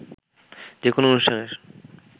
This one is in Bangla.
যে কোনো অনুষ্ঠানের